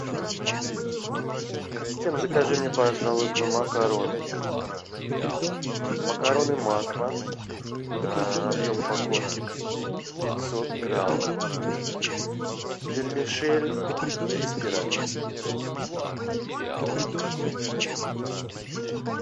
ассистент закажи мне пожалуйста макароны макароны макфа объем упаковки пятьсот грамм вермишель или спиральки